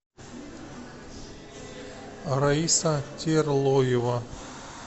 раиса терлоева